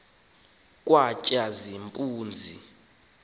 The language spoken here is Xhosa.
katshazimpunzi